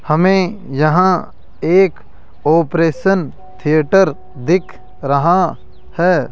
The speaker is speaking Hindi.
हमे यहां एक ऑपरेशन थिएटर दिख रहा है।